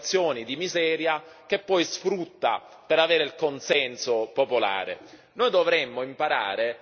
e genera emergenze e situazioni di miseria, che poi sfrutta per avere il consenso popolare.